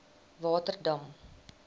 waterdam